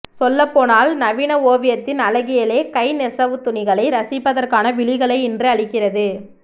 சொல்லப்போனால் நவீன ஓவியத்தின் அழகியலே கைநெசவுத்துணிகளை ரசிப்பதற்கான விழிகளை இன்று அளிக்கிறது